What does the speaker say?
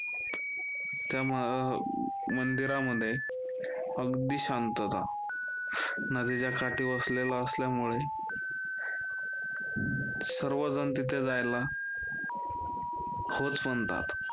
त्या म~ मंदिरामध्ये अगदी शांतता, नदीच्या काठी वसलेलं असल्यामुळे सर्वजण तिथे जायला होच म्हणतात.